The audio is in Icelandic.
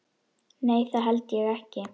Nei það held ég ekki.